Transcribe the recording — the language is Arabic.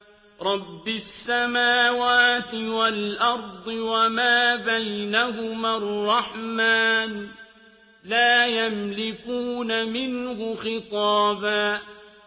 رَّبِّ السَّمَاوَاتِ وَالْأَرْضِ وَمَا بَيْنَهُمَا الرَّحْمَٰنِ ۖ لَا يَمْلِكُونَ مِنْهُ خِطَابًا